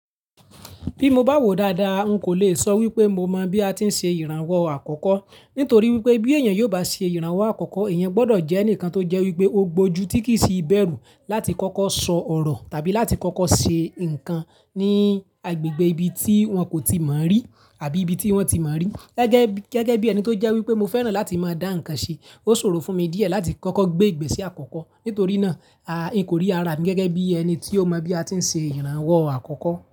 Bí mo bá wò dáadáa, n kò le sọ wípé mo mọ bí a ti ń ṣe ìrànwọ́ àkọ́kọ́. Nítorí wípé bí èèyàn yóò bá ṣe ìrànwọ́ àkọ́kọ́, èèyàn gbọdọ̀ jẹ́ ẹnìkan tó jẹ́ wípé ó gbójú tí kì í ṣi bẹ̀rù láti kọ́kọ́ sọ ọ̀rọ̀ tàbí láti kọ́kọ́ ṣe ǹkan ní agbègbè ibi tí wọ́n kò tíì mọ̀ rí àbí ibi tí wọ́n tí mọ̀ rí. Gẹ́gẹ́ bí, gẹ́gẹ́ bí ẹni tó jẹ́ wípé mo fẹ́ràn láti máa dá ǹkan ṣe, ó ṣòro fún mi díẹ̀ láti kọ́kọ́ gbé ìgbésẹ̀ àkọ́kọ́. Nítorí náà, n kò rí ara mi gẹ́gẹ́ bí ẹni tí ó mọ bí a ti ń ṣe ìrànwọ́ àkọ́kọ́